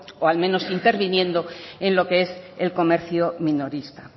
o al menos interviniendo en lo que es el comercio minorista